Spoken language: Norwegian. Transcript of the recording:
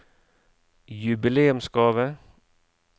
jubileumsgave